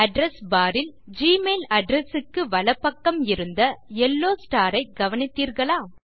address bar ல் Gmail address க்கு வலப்பக்கம் இருந்த யெல்லோ ஸ்டார் ஐ கவனித்தீர்களா